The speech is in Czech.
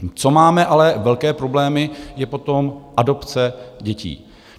Co máme ale velké problémy, je potom adopce dětí.